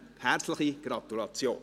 Herzliche Gratulation!